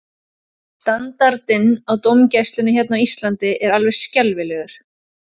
Standardinn á dómgæslunni hérna á Íslandi er alveg skelfilegur.